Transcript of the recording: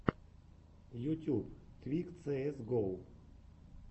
ютьюб твик цээс го